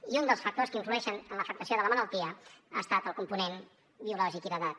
i un dels factors que influeixen en l’afectació de la malaltia ha estat el component biològic i d’edat